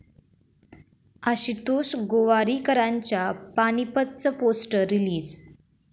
आशुतोष गोवारीकरांच्या 'पानिपत'चं poster release